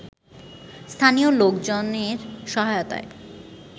স্থানীয় লোকজনের সহায়তায়